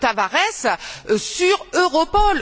Tavares sur Europol.